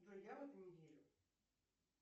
джой я в это не верю